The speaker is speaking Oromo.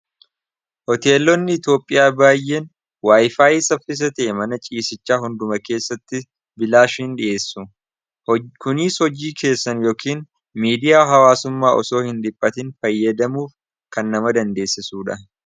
hoteelonni iitoophiyaa baay'een waayifaayi saffisa ta'e mana ciisichaa hunduma keessatti bilaash hin dhi'eessu kuniis hojjii keessan yookiin miidiyaa hawaasummaa osoo hin diphatin fayyadamuuf kan nama dandeessisuudha